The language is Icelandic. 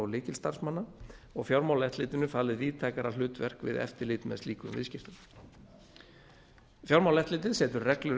lykilstarfsmanna og fjármálaeftirlitinu falið víðtækara hlutverk við eftirlit með slíkum viðskiptum fjármálaeftirlitið setur reglur